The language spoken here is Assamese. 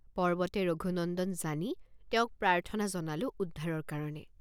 পৰ্বতে ৰঘুনন্দন জানি তেওঁক প্ৰাৰ্থনা জনালোঁ উদ্ধাৰৰ কাৰণে।